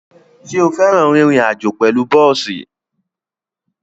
Ṣo fẹ́ràn rírin àjó pẹ̀lú bọ́ọ̀sì?